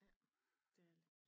Ja det er det